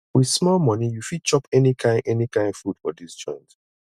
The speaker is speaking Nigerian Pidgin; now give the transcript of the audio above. wit small moni you fit chop any kain any kain food for dis joint